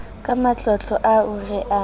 ka matlotlo ao re a